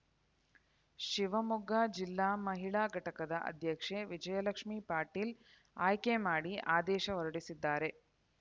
ಶಿವಮೊಗ್ಗ ಜಿಲ್ಲಾ ಮಹಿಳಾ ಘಟಕದ ಅಧ್ಯಕ್ಷೆ ವಿಜಯಲಕ್ಷ್ಮಿ ಪಾಟೀಲ್‌ ಆಯ್ಕೆ ಮಾಡಿ ಆದೇಶ ಹೊರಡಿಸಿದ್ದಾರೆ